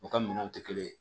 U ka minɛnw tɛ kelen ye